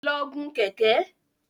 Lọ gun Kẹ̀kẹ́!